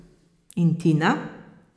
In Tina?